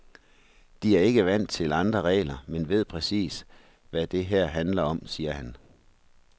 De er ikke vant til andre regler, men ved præcis, hvad det her handler om, siger han.